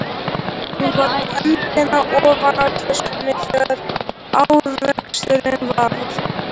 Hún var með höndina ofan í töskunni þegar áreksturinn varð.